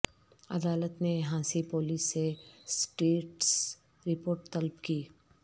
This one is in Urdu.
عدالت نے ہانسی پولیس سے اسٹیٹس رپورٹ طلب کی